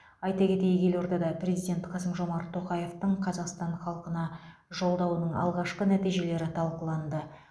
айта кетейік елордада президент қасым жомарт тоқаевтың қазақстан халқына жолдауының алғашқы нәтижелері талқыланды